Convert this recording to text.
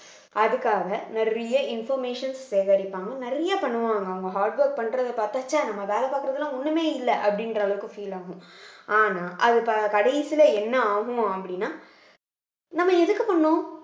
அதுக்காக நிறைய informations சேகரிப்பாங்க நிறைய பண்ணுவாங்க அவங்க hard work பண்றதை பார்த்தா ச்சே நம்ம வேலை பார்க்கிறதெல்லாம் ஒண்ணுமே இல்லை அப்படின்ற அளவுக்கு feel ஆகும் ஆனா அது கடைசியில என்ன ஆகும் அப்படின்னா நம்ம எதுக்கு பண்ணோம்